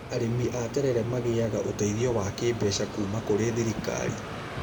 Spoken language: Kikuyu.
Arĩmi a terere magĩaga ũteithio wa kĩmbeca kuma kũri thirikari